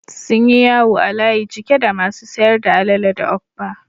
Sunyi yawo a layi cike da masu sayar da alele da okpa